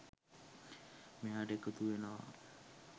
මෙයාට එකතු වෙනවා.